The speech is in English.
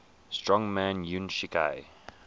strongman yuan shikai